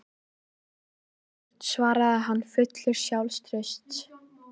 Er hún alltaf jafn slæm af gigtinni, blessunin?